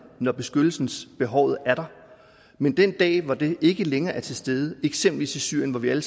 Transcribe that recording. når beskyttelsesbehovet er der men den dag hvor det ikke længere er til stede eksempelvis i syrien hvor vi alle